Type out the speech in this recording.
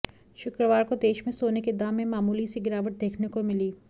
शुक्रवार को देश में सोने के दाम में मामूली सी गिरावट देखने को मिली